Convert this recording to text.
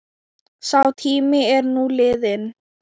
Sá tími er nú liðinn.